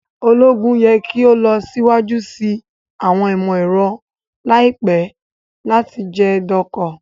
Ologun yẹ ki o lọ siwaju si awọn imọ-ẹrọ laipẹ lati jẹ doko